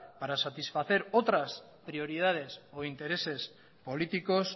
para satisfacer otras prioridades o intereses políticos